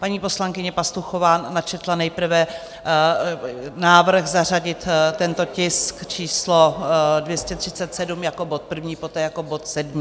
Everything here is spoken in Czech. Paní poslankyně Pastuchová načetla nejprve návrh zařadit tento tisk číslo 237 jako bod první, poté jako bod sedmý.